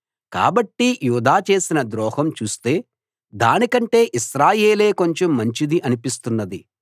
కాబట్టి యూదా చేసిన ద్రోహం చూస్తే దానికంటే ఇశ్రాయేలే కొంచెం మంచిది అనిపిస్తున్నది